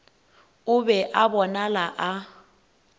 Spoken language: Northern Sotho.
o be a bonala a